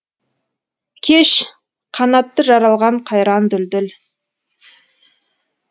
кеш қанатты жаралған қайран дүлдүл